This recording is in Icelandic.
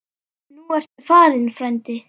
Nú ertu farinn, frændi.